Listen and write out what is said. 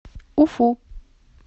уфу